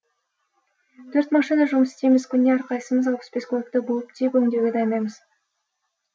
төрт машина жұмыс істейміз күніне әрқайсымыз алпыс бес көлікті буып түйіп өңдеуге дайындаймыз